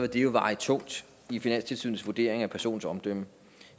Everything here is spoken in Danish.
det veje tungt i finanstilsynets vurdering af personens omdømme